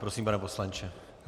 Prosím, pane poslanče.